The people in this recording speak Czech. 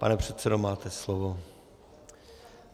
Pane předsedo, máte slovo.